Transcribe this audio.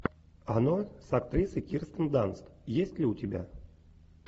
оно с актрисой кирстен данст есть ли у тебя